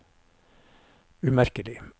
umerkelig